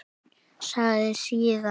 Sagði síðan: